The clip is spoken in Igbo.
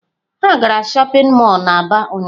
Ha gara shopping mall na aba ụnyahụ.